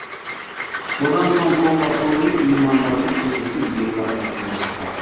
содан соң қолға су құйып меймандарды келесі үйдегі дастарханға шақырады